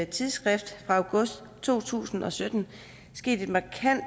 tidsskrift fra august to tusind og sytten sket et markant